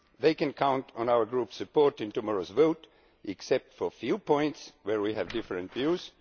They can count on our Group's support in tomorrow's vote, except for a few points where we have different views.